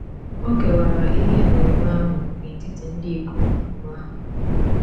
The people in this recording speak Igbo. O kewara ihe enweenwe ahụ n’etiti ndị ikom abụọ ahụ.